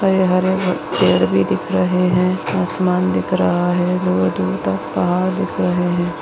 हरे-हरे पेड़ भी दिख रहे हैआसमान दिख रहा है दूर दूर तक पहाड़ दिख रहे है।